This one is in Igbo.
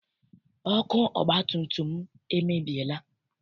Ọkụ ọgbatumtum m emebiela.